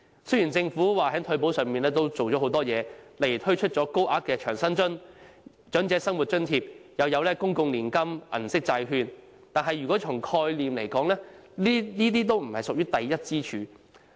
雖然政府表示已在退保上下了很多工夫，例如推出高額長者生活津貼，又有公共年金計劃、銀色債券等，但從概念來說，這些均不屬於第一根支柱。